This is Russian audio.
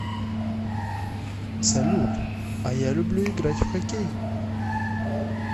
салют а я люблю играть в хоккей